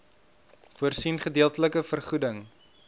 voorsien gedeeltelike vergoeding